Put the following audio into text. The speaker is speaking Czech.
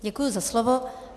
Děkuji za slovo.